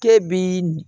K'e bi